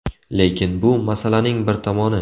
Lekin bu – masalaning bir tomoni.